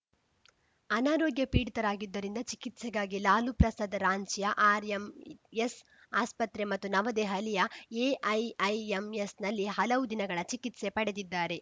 ಅನಾರೋಗ್ಯ ಪೀಡಿತರಾಗಿದ್ದರಿಂದ ಚಿಕಿತ್ಸೆಗಾಗಿ ಲಾಲು ಪ್ರಸಾದ್‌ ರಾಂಚಿಯ ಆರ್‌ಎಂಎಸ್‌ ಆಸ್ಪತ್ರೆ ಮತ್ತು ನವದೆಹಲಿಯ ಎಐಐಎಂಎಸ್‌ನಲ್ಲಿ ಹಲವು ದಿನಗಳ ಚಿಕಿತ್ಸೆ ಪಡೆದಿದ್ದಾರೆ